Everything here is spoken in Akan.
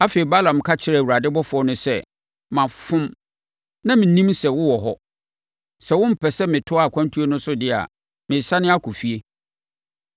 Afei, Balaam ka kyerɛɛ Awurade ɔbɔfoɔ no sɛ, “Mafom. Na mennim sɛ wowɔ hɔ. Sɛ wompɛ sɛ metoa mʼakwantuo no so deɛ a, meresane akɔ efie.”